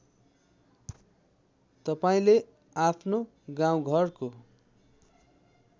तपाईँले आफ्नो गाउँघरको